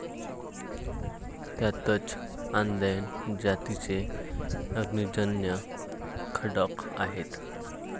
त्यातच आदैन जातीचे अग्निजन्य खडक आहेत.